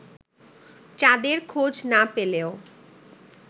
চাঁদের খোঁজ না পেলেও